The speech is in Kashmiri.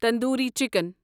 تندوری چِکن